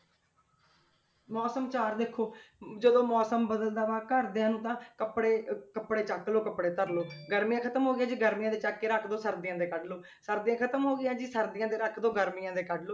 ਮੌਸਮ 'ਚ ਆਹ ਦੇਖੋ ਜਦੋਂ ਮੌਸਮ ਬਦਲਦਾ ਵਾ ਘਰਦਿਆਂ ਨੂੰ ਤਾਂ ਕੱਪੜੇ ਅਹ ਕੱਪੜੇ ਚੁੱਕ ਲਓ ਕੱਪੜੇ ਧਰ ਲਓ ਗਰਮੀਆਂ ਖ਼ਤਮ ਹੋ ਗਈਆਂ ਜੀ ਗਰਮੀਆਂ ਦੇ ਚੁੱਕ ਕੇ ਰੱਖ ਦਓ ਸਰਦੀਆਂ ਦੇ ਕੱਢ ਲਓ, ਸਰਦੀਆਂ ਖ਼ਤਮ ਹੋ ਗਈਆਂ ਜੀ ਸਰਦੀਆਂ ਦੇ ਰੱਖ ਦਓ, ਗਰਮੀਆਂ ਦੇ ਕੱਢ ਲਓ।